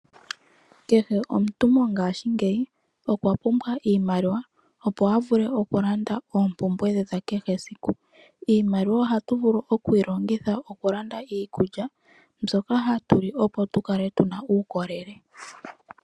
Kehe omuntu mongashingeyi okwa pumbwa iimaliwa, opo a vule okulanda oompumbwe dhe dha kehe esiku. Iimaliwa ohatu vulu okuyi longitha okulanda iikulya mbyoka hatu li, opo tu kale tu na uukolele.